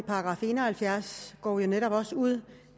§ en og halvfjerds går jeg også ud